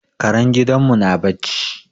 Karen gidan mu na barci